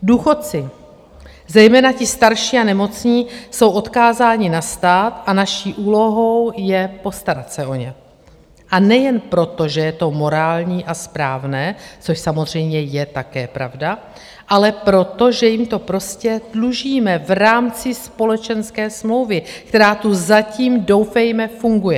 Důchodci, zejména ti starší a nemocní, jsou odkázáni na stát a naší úlohou je postarat se o ně, a nejen proto, že je to morální a správné, což samozřejmě je také pravda, ale proto, že jim to prostě dlužíme v rámci společenské smlouvy, která tu zatím doufejme funguje.